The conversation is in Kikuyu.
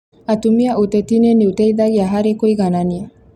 Atumia ũtetinĩ nĩ ũteithagia harĩ kũiganania